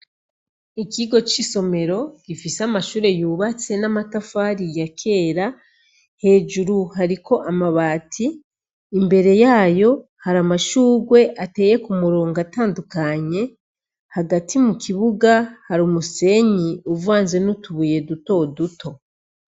Ikigo c'isomero gifise amashure yubatse n'amatafari ya kera; hejuru hariko amabati, imbere yayo har'amashurwe ateye k'umurongo atandukanye, hagati mukibuga har'umusenyi uvanze n'utubuye dutoduto.